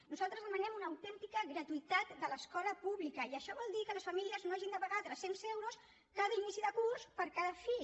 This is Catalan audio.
nosaltres demanem una autèntica gratuïtat de l’escola pública i això vol dir que les famílies no hagin de pagar tres cents euros cada inici de curs per cada fill